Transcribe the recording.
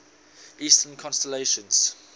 eastern constellations